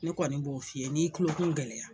Ne kɔni b'o f'i ɲɛnɛ n'i y'i tulokun gɛlɛya.